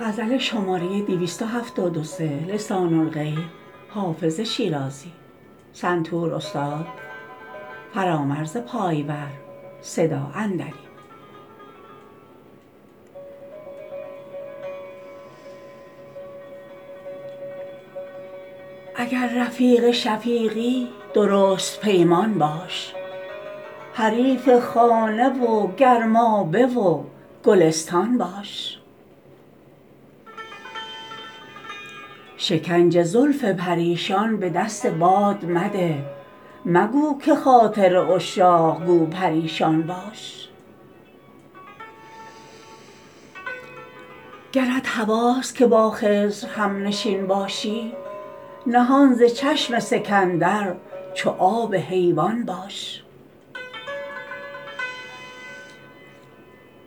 اگر رفیق شفیقی درست پیمان باش حریف خانه و گرمابه و گلستان باش شکنج زلف پریشان به دست باد مده مگو که خاطر عشاق گو پریشان باش گرت هواست که با خضر هم نشین باشی نهان ز چشم سکندر چو آب حیوان باش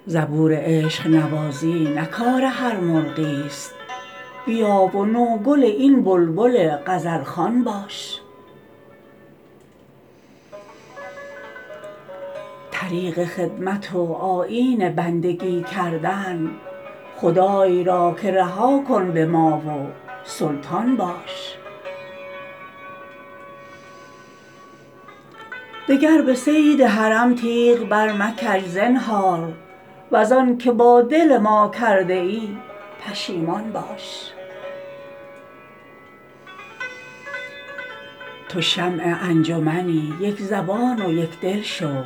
زبور عشق نوازی نه کار هر مرغی است بیا و نوگل این بلبل غزل خوان باش طریق خدمت و آیین بندگی کردن خدای را که رها کن به ما و سلطان باش دگر به صید حرم تیغ برمکش زنهار وز آن که با دل ما کرده ای پشیمان باش تو شمع انجمنی یک زبان و یک دل شو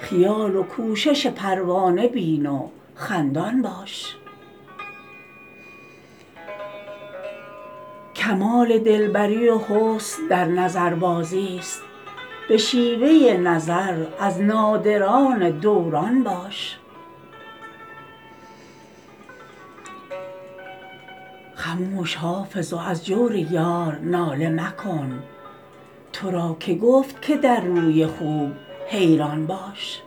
خیال و کوشش پروانه بین و خندان باش کمال دل بری و حسن در نظربازی است به شیوه نظر از نادران دوران باش خموش حافظ و از جور یار ناله مکن تو را که گفت که در روی خوب حیران باش